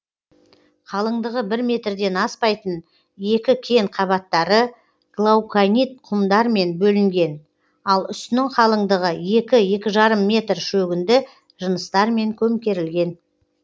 қалыңдығы бір метрден аспайтын екі кен қабаттары глауконит құмдармен бөлінген ал үстінің қалыңдығы екі екі жарым метр шөгінді жыныстармен көмкерілген